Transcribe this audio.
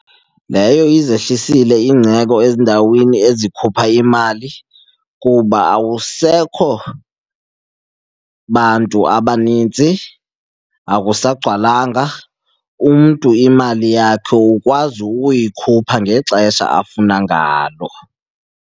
Leyo izehlisile ezindaweni ezikhupha imali kuba awusekho bantu abaninzi, akusagcwalanga. Umntu imali yakhe ukwazi ukuyikhupha ngexesha afuna ngalo.